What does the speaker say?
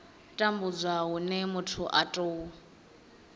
tambudzwa hune muthu a tou